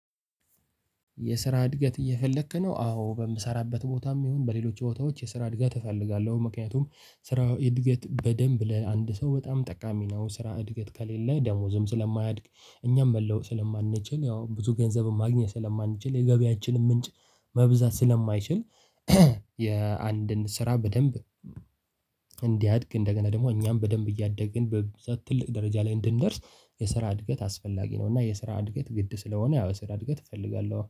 የስራ እድገት እየፈለክ ነው? አዎ በምሰራበት ቦታም ይሁን በሌሎች ቦታዎች የስራ እድገት እፈልጋለሁ ምክንያቱም ስራ እድገት በደንብ ለአንድ ሰው በጣም ጠቃሚ ነው። ስራ እድገት ከሌለ ደሞዝም ስለማያድግ እኛም መለወጥ ስለማንችል ያው ብዙ ገንዘብም ማግኘት ስለማንችል የገበያችንም ምንጭ መብዛት ስለማይችል። የአንድን ስራ በደንብ እንዲያድግ እንደገና ደግሞ እኛም በደንብ እያደግን በዛ ትልቅ ደረጃ ላይ እንድንደርስ የስራ እድገት አስፈላጊ ነው። እና የስራ እድገት ግድ ስለሆነ ያው የስራ እድገት እፈልጋለሁ